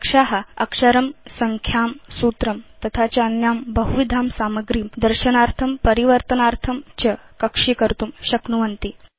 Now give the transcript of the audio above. कक्षा160 अक्षरं संख्यां सूत्रं तथा च अन्यां बहुविधां सामग्रीं दर्शनार्थं परिवर्तनार्थं च कक्षीकर्तुं शक्नुवन्ति